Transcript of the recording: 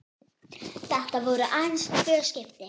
Þetta voru aðeins tvö skipti.